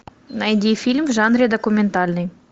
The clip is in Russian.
найди фильм в жанре документальный